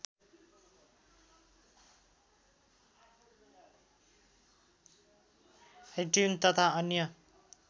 iTune तथा अन्य